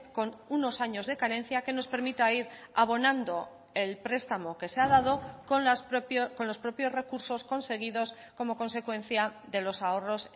con unos años de carencia que nos permita ir abonando el prestamo que se ha dado con los propios recursos conseguidos como consecuencia de los ahorros